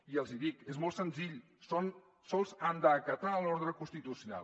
i els hi dic és molt senzill sols han d’acatar l’ordre constitucional